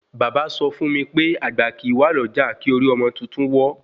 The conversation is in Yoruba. Bàbá sọ fún mí pé àgbà kìí wà lọ́jà kí orí ọmọ tuntun wọ́